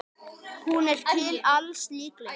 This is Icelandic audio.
Hún er til alls líkleg.